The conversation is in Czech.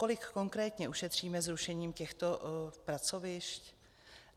Kolik konkrétně ušetříme zrušením těchto pracovišť?